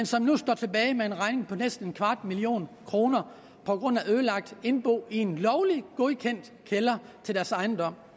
som nu står tilbage med en regning på næsten en kvart million kroner på grund af ødelagt indbo i en lovlig godkendt kælder i deres ejendom